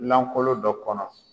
Lankolon dɔ kɔnɔ.